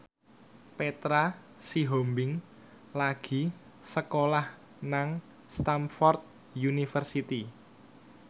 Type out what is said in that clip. Petra Sihombing lagi sekolah nang Stamford University